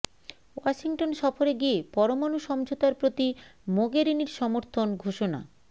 Washington সফরে গিয়ে পরমাণু সমঝোতার প্রতি মোগেরিনির সমর্থন ঘোষণা